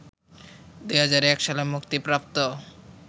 ২০০১ সালে মুক্তিপ্রাপ্ত